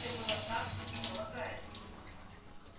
все было так как и полагается